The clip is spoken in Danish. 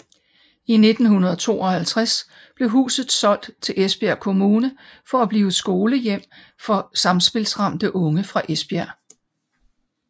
I 1952 blev huset solgt til Esbjerg Kommune for at blive skolehjem for samspilsramte unge fra Esbjerg